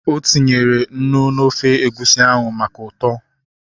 O tinyere unu n'ofe egusi ahụ maka ụtọ